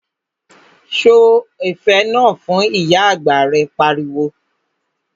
Sọ ẹ̀fẹ̀ náà fun', Ìyá àgbà rẹ̀ pariwo